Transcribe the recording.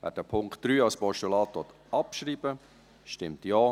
Wer den Punkt 3 als Postulat abschreiben will, stimmt Ja,